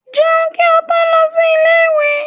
Jẹun kí ó tó lọ sí ilé ìwé!